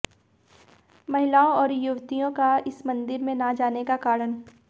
महिलाओं और युवतियों का इस मंदिर में न जाने का कारण